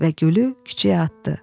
Və gülü küçəyə atdı.